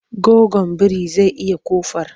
Goggon biri zai iya ƙofar.